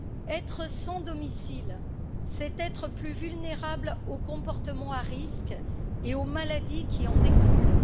Être sans domicile, c'est être plus vulnérable aux comportements à risque et aux maladies qui en découlent.